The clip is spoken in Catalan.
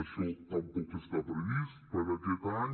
això tampoc està previst per aquest any